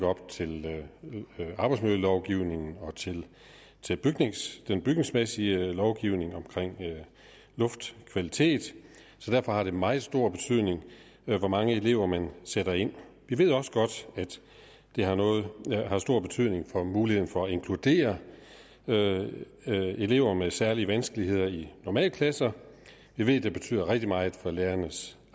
op til arbejdsmiljølovgivningen og til den bygningsmæssige lovgivning omkring luftkvalitet så derfor har det meget stor betydning hvor mange elever man sætter ind vi ved også godt at det har stor betydning for muligheden for at inkludere elever med særlige vanskeligheder i normalklasser vi ved at det betyder rigtig meget for lærernes